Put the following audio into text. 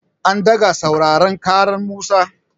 An ɗaga sauraren ƙaran Musa.